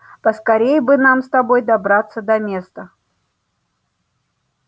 поскорее бы нам с тобой добраться до места